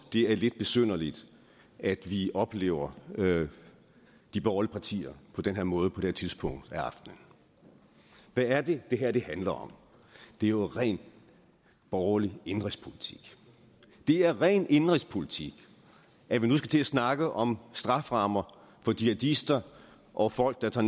er lidt besynderligt at vi oplever de borgerlige partier på den her måde på dette tidspunkt af aftenen hvad er det det her handler om det er jo ren borgerlig indenrigspolitik det er ren indenrigspolitik at vi nu skal til at snakke om strafferammer for jihadister og folk der tager